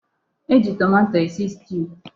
E ji tomato esi stiu.